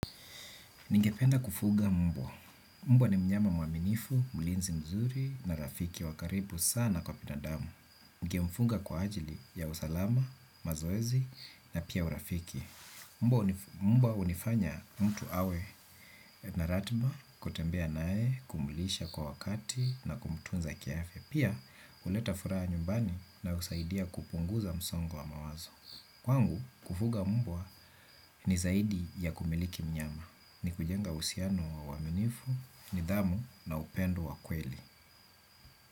Ningependa kufuga mbwa. Mbwa ni mnyama mwaminifu, mlinzi mzuri na rafiki wa karibu sana kwa binadamu. Ningemfunga kwa ajili ya usalama, mazoezi na pia urafiki. Mbwa hunifanya mtu awe na ratiba kutembea naye kumlisha kwa wakati na kumtunza kiafya. Pia, huleta furaha nyumbani na husaidia kupunguza msongo wa mawazo. Kwangu, kufuga mbwa ni zaidi ya kumiliki mnyama, ni kujenga uhusiano wa uaminifu, nidhamu na upendo wa kweli.